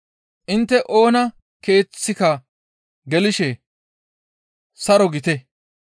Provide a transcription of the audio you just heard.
Intte oona keeththika gelshe, ‹Saro› giite.